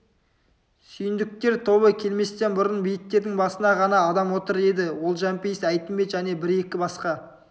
сүйіндіктер тобы келместен бұрын бейіттердің басында қана адам отыр еді ол жәмпейіс әйтімбет және бір-екі басқа